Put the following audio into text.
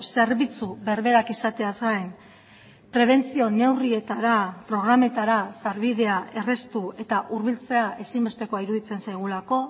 zerbitzu berberak izateaz gain prebentzio neurrietara programetara sarbidea erraztu eta hurbiltzea ezinbestekoa iruditzen zaigulako